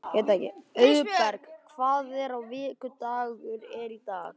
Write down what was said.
Auðberg, hvaða vikudagur er í dag?